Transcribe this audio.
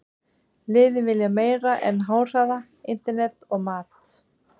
Liðin vilja meira en háhraða internet og mat.